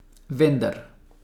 Vendar.